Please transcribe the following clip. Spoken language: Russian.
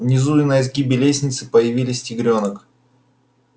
внизу на изгибе лестницы появились тигрёнок